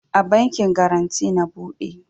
A bankin garanty na bude